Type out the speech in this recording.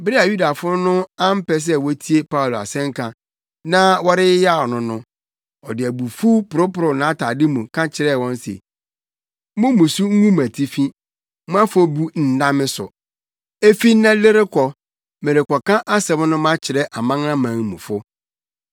Bere a Yudafo no ampɛ sɛ wotie Paulo asɛnka, na wɔyeyaw no no, ɔde abufuw poroporow nʼatade mu ka kyerɛɛ wɔn se, “Mo mmusu ngu mo atifi. Mo afɔbu nna me so. Efi nnɛ de rekɔ, merekɔka asɛm no makyerɛ amanamanmufo.”